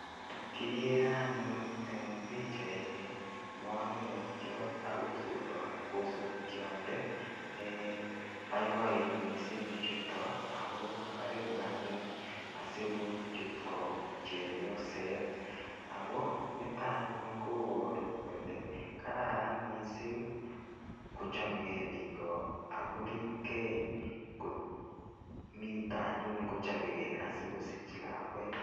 Kigere anyun eng pichaini manung'otiot ak osotiot ne boiboen mising bichuto ago karipu anyun asigochut ko chepyoset. Nito anyun kobaru kole kararan mising kochomege biik ak koripkei komito anyun kochobegei asigosich lakwet.